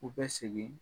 U bɛ segin